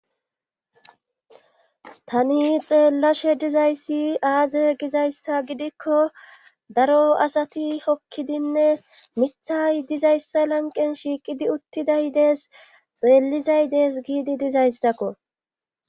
Tani xeellashe dizayssi aaze gizayssa gidikko daro asati hokkidinne mithay dizayssa lanqen shiiqidi uttiday dees xeellizay dees giidi dizayssako.